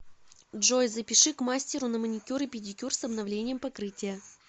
джой запиши к мастеру на маникюр и педикюр с обновлением покрытия